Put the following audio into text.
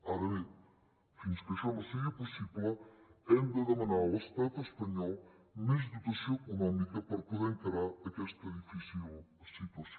ara bé fins que això no sigui possible hem de demanar a l’estat espanyol més dotació econòmica per poder encarar aquesta difícil situació